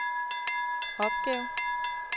opgave